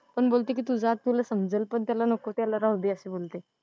पण बोलते कि तु जा तुला समजेल पण त्याला नको त्याला राहूदे असं बोलते.